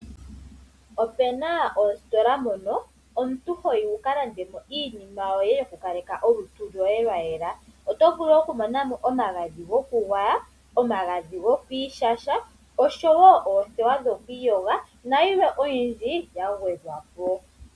Opuna oositola mono omuntu hoyi wuka lande iinima yoye yo ku kaleka olutu loye lwa yela. Oto vulu oku mona mo omagadhi goku gwaya, omagadhi gokwiishasha. Osho woo oothewa dhoku iyoga na yilwe oyindji yagwedhwapo.